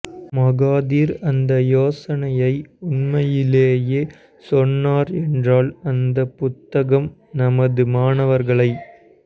Mahathir அந்த யோசனையை உண்மையிலேயே சொன்னார் என்றால் அந்தப் புத்தகம் நமது மாணவர்களை